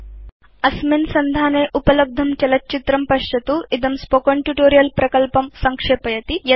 httpspoken tutorialorgWhat is a Spoken Tutorial अत्र उपलब्धं चलत् चित्रं पश्यतु इदं स्पोकेन ट्यूटोरियल् प्रकल्पं संक्षेपयति